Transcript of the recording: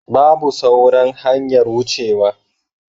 Babu sauran hanyar wucewa.